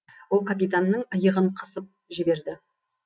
ол капитанның иығын қысып жіберді